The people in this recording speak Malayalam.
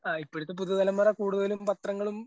ആ ഇപ്പോഴത്തെ പുതിയ തലമുറ കൂടുതലും പത്രങ്ങളും.